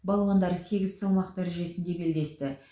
балуандар сегіз салмақ дәрежесінде белдесті